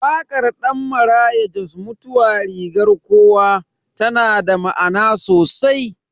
Wakar Dan Maraya Jos "Mutuwa rigar kowa" tana da ma'ana sosai.